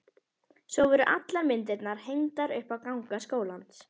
Svo voru allar myndirnar hengdar upp á ganga skólans.